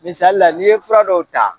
Misali la n'i ye fura dɔw ta